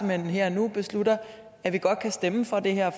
hen her og nu beslutter at vi godt kan stemme for det her